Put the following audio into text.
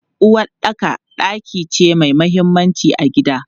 Uwaɗɗaka ɗaki ce mai mahimmanci a gida.